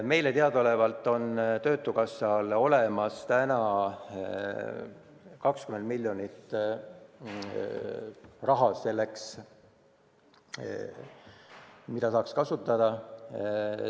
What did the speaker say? Meile teadaolevalt on töötukassal täna olemas 20 miljonit eurot, mida saaks selleks kasutada.